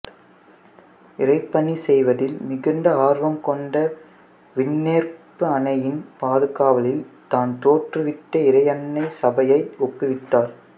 இறைப்பணிச் செய்வதில் மிகுந்த ஆர்வம் கொண்டு விண்ணேற்பு அன்னையின் பாதுகாவலில் தான் தோற்றுவித்த இறையன்னை சபையை ஒப்புவித்தார்